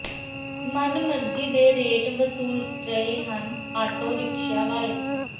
ਮਨ ਮਰਜੀ ਦੇ ਰੇਟ ਵਸੂਲ ਰਹੇ ਹਨ ਆਟੋ ਰਿਕਸ਼ਿਆਂ ਵਾਲੇ